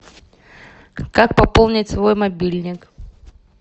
как пополнить свой мобильник